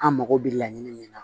An mago bɛ laɲini min na